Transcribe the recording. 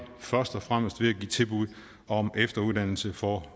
først og fremmest ved at give tilbud om efteruddannelse for